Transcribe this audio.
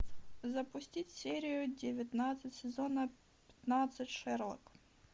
запустить серию девятнадцать сезона пятнадцать шерлок